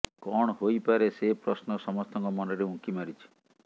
କଣ ହୋଇପାରେ ସେ ପ୍ରଶ୍ନ ସମସ୍ତଙ୍କ ମନରେ ଉଙ୍କି ମାରିଛି